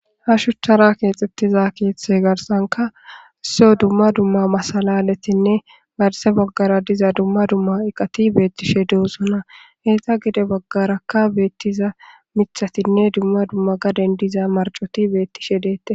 Ha shuchara keexxettiza keeththe garsanka isso dumma dumma masalaletinne garse baggara diza dumma dumma iqati beettishe doosona heyta gide baggarakka beettiza mithatinne dumma dumma gaden diza marcoti beettishe deette.